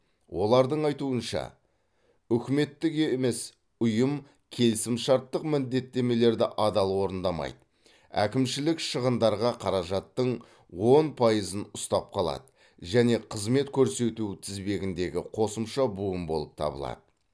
олардың айтуынша үкіметтік емес ұйым келісімшарттық міндеттемелерді адал орындамайды әкімшілік шығындарға қаражаттың он пайызын ұстап қалады және қызмет көрсету тізбегіндегі қосымша буын болып табылады